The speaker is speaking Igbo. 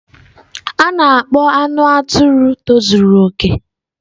A na-akpọ anụ atụrụ tozuru okè.